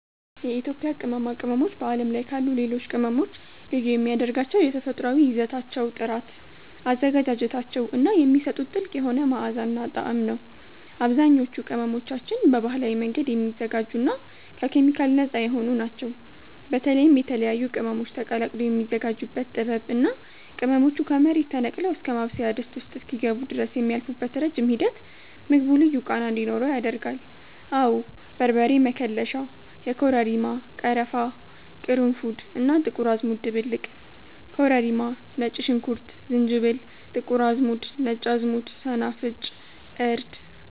የኢትዮጵያ ቅመማ ቅመሞች በዓለም ላይ ካሉ ሌሎች ቅመሞች ልዩ የሚያደርጋቸው የተፈጥሮአዊ ይዘታቸው ጥራት፣ አዘገጃጀታቸው እና የሚሰጡት ጥልቅ የሆነ መዓዛና ጣዕም ነው። አብዛኞቹ ቅመሞቻችን በባህላዊ መንገድ የሚዘጋጁና ከኬሚካል ነፃ የሆኑ ናቸው። በተለይም የተለያዩ ቅመሞች ተቀላቅለው የሚዘጋጁበት ጥበብ እና ቅመሞቹ ከመሬት ተነቅለው እስከ ማብሰያ ድስት ውስጥ እስኪገቡ ድረስ የሚያልፉበት ረጅም ሂደት ምግቡ ልዩ ቃና እንዲኖረው ያደርጋል። አወ በርበሬ መከለሻ (የኮረሪማ፣ ቀረፋ፣ ቅርንፉድ እና ጥቁር አዝሙድ ድብልቅ) ኮረሪማ ነጭ ሽንኩርት ዝንጅብል ጥቁር አዝሙድ ነጭ አዝሙድ ሰናፍጭ እርድ